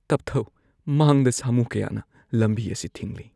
ꯇꯞꯊꯧ꯫ ꯃꯥꯡꯗ ꯁꯥꯃꯨ ꯀꯌꯥꯅ ꯂꯝꯕꯤ ꯑꯁꯤ ꯊꯤꯡꯂꯤ꯫